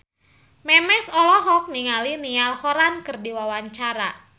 Memes olohok ningali Niall Horran keur diwawancara